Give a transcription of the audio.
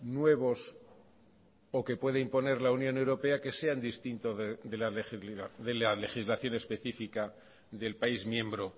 nuevos o que puede imponer la unión europea que sean distintos de la legislación específica del país miembro